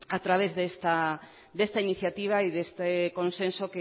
a través de esta iniciativa y de este consenso